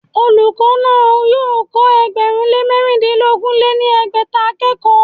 Olùkọ́ náà yóò kọ́ ẹgbẹ̀rún lé mẹ̀rindínogún lé ní ẹgbẹ́ta akẹ́kọ̀ọ́